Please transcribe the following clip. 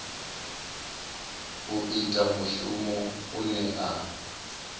u ita mushumo une a